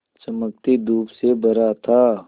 चमकती धूप से भरा था